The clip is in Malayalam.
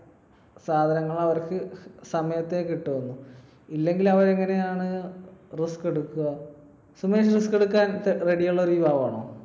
സാധനങ്ങൾ അവർക്ക് സമയത്തെ കിട്ടുള്ളു. ഇല്ലെങ്കിൽ അവരെങ്ങനെയാണ് risk എടുക്കുക? സുമേഷ് risk എടുക്കാൻ ready ഉള്ള ഒരു യുവാവാണോ?